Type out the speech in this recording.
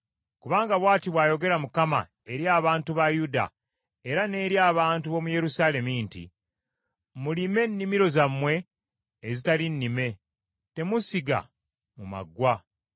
Kubanga bw’ati bw’ayogera Mukama eri abantu ba Yuda era n’eri abantu b’omu Yerusaalemi nti, “Mulime ennimiro zammwe ezitali nnime, temusiga mu maggwa.